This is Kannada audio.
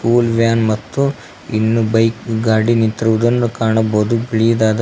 ಸ್ಕೂಲ್ ವ್ಯಾನ್ ಮತ್ತು ಇನ್ನು ಬೈಕ್ ಗಾಡಿ ನಿಂತಿರುವುದನ್ನು ಕಾಣಬಹುದು ಬಿಳಿದಾದಾ--